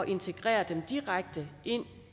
integrere dem direkte